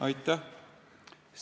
Aitäh!